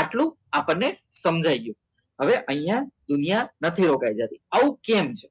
આટલું આપણને સમજાય ગયું હવે અહીંયા દુનિયાના નથી રોકાઈ જતી આવું કેમ છે